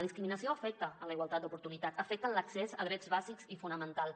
la discriminació afecta la igualtat d’oportunitats afecta l’accés a drets bàsics i fonamentals